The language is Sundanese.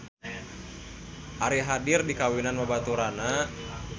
Ari hadir di kawinan babaturanna